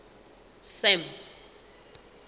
sam